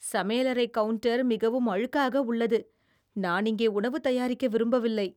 சமையலறை கவுண்டர் மிகவும் அழுக்காக உள்ளது, நான் இங்கே உணவு தயாரிக்க விரும்பவில்லை.